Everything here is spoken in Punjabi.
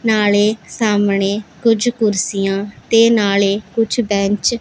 ਨਾਲੇ ਸਾਹਮਣੇ ਕੁਝ ਕੁਰਸੀਆਂ ਤੇ ਨਾਲੇ ਕੁਝ ਬੈਂਚ --